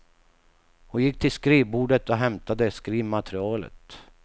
Hon gick till skrivbordet och hämtade skrivmaterialet.